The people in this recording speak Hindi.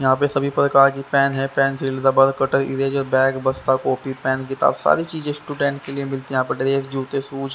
यहाँ पे सभी प्रकार की पैन है pencil rubber cutter eraser bag बस्ता कॉपी पेन किताब सारी चीजें स्टूडेंट के लिए मिलती है यहाँ पे ड्रेस जूते शूज --